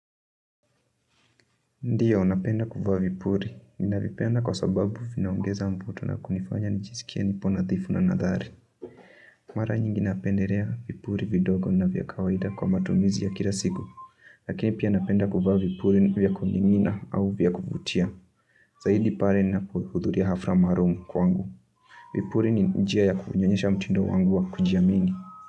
Ndio, napenda kuvaa vipuli, ninavipenda kwa sababu vinaongeza mvuto na kunifanya nijisikie nipo nadhifu na nathari. Mara nyingi napendelea vipuli vidogo na vya kawaida kwa matumizi ya kila siku, lakini pia napenda kuvaa vipuli vya kumimina au vya kuvutia. Zaidi pale ninahudhuria hafla maalum kwangu. Vipuli ni njia ya kunyonyesha mutindo wangu wa kujiamini.